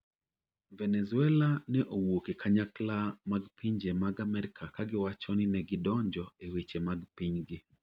Venezuela ne owuok e kanyakla mag pinje mad America ka giwacho ninegidonjo e weche mag pinygi.